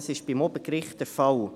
Dies ist beim Obergericht der Fall.